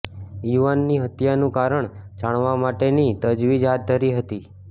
યુવાનની હત્યાનું કારણ જાણવા માટેની તજવીજ હાથ ધરી હતી